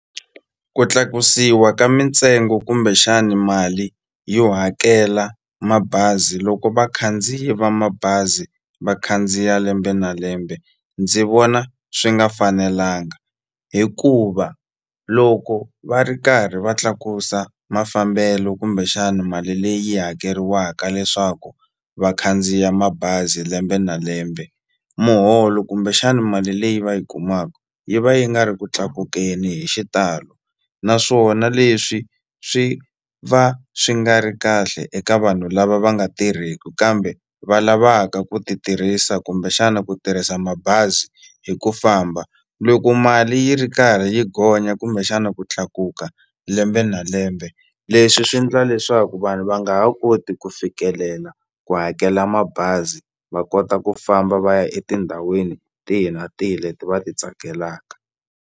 Ku tlakusiwa ka mintsengo kumbexani mali yo hakela mabazi loko vakhandziyi va mabazi va khandziya lembe na lembe ndzi vona swi nga fanelanga hikuva loko va ri karhi va tlakusa mafambelo kumbexani mali leyi hakeriwaka leswaku va khandziya mabazi lembe na lembe muholo kumbexani mali leyi va yi kumaku yi va yi nga ri ku tlakukeni hi xitalo naswona leswi swi va swi nga ri kahle eka vanhu lava va nga tirheki kambe va lavaka ku ti tirhisa kumbexana ku tirhisa mabazi hi ku famba loko mali yi ri karhi yi gonya kumbexana ku tlakuka lembe na lembe leswi swi ndla leswaku vanhu va nga ha koti ku fikelela ku hakela mabazi va kota ku famba va ya etindhawini tihi na tihi leti va ti tsakelaka.